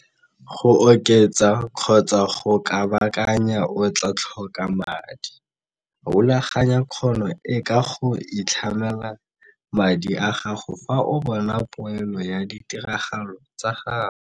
Go oketsa kgotsa go kabakanya o tlaa tlhoka madi. Rulaganya kgono e ka go itlhamela madi a gago fa o bona poelo ya ditiragalo tsa gago.